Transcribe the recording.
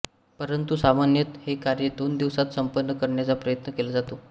परंतू सामान्यत हे कार्य दोन दिवसात संपन्न करण्याचा प्रयत्न केला जातो